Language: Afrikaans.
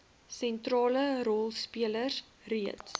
sentrale rolspelers reeds